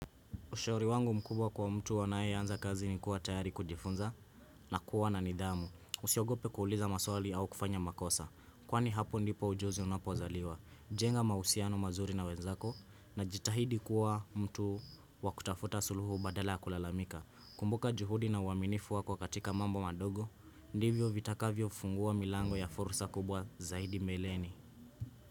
Ushauri wangu mkubwa kwa mtu anayeanza kazi ni kuwa tayari kujifunza na kuwa na nidhamu. Usiogope kuuliza maswali au kufanya makosa. Kwani hapo ndipo ujuzi unapozaliwa. Jenga mahusiano mazuri na wenzako na jitahidi kuwa mtu wakutafuta suluhu badala ya kulalamika. Kumbuka juhudi na uaminifu wako katika mambo madogo. Ndivyo vitakavyofungua milango ya fursa kubwa zaidi mbeleni.